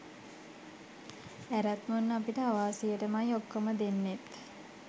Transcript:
ඇරත් මුන් අපිට අවාසියටමයි ඔක්කොම දෙන්නෙත්